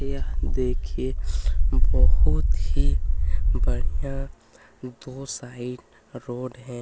यह देखिए बहुत ही बढ़िया दो साइड रोड हैं।